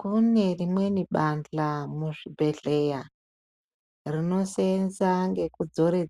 Kune rinweni bandla muzvipatara rinosenza ngekudzora